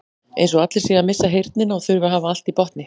Eins og allir séu að missa heyrnina og þurfi að hafa allt í botni.